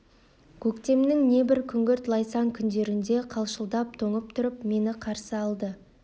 көктемнің небір күңгірт лайсаң күндерінде де қалшылдап тоңып тұрып мені қарсы алды